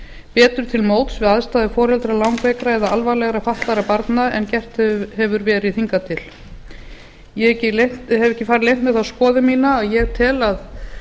betur til móts við aðstæður foreldra langveikra eða alvarlega fatlaðra barna en gert hefur verið hingað til ég hef ekki farið leynt með þá skoðun mína að ég tel að